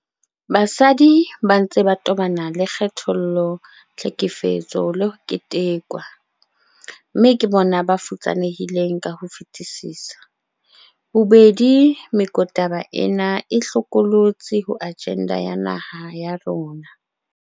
Basadi ba ntse ba tobana le kgethollo, tlhekefetso le ho ketekwa, mme ke bona ba futsanehileng ka ho fetisisa. Bobedi mekotaba ena e hlokolotsi ho ajenda ya naha ya rona.